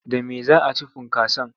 Da me za a ci funkason?